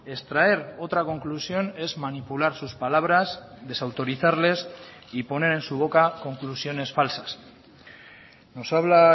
extraer otra conclusión es manipular sus palabras desautorizarles y poner en su boca conclusiones falsas nos habla